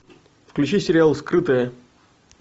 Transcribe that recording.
включи сериал скрытое